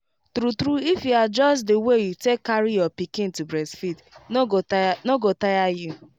true true if you adjust the way you take carry your pikin to breastfeed no go tire go tire you